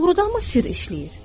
Doğrudanmı sirr işləyir?